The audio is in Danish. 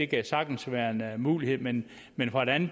kan sagtens være en mulighed men men hvordan